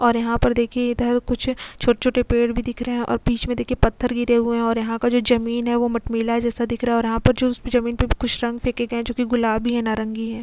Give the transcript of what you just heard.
और यहां पर देखिए इधर कुछ छोटे-छोटे पेड़ भी दिख रहे हैं और बीच में देखे पत्थर गिरे हुए हैं और यहां का जो जमीन है वह मटमिला जैसा दिख रहा है और यह पर जो जमीन पर कुछ रंग फेके है जो की गुलाबी है नारंगी है.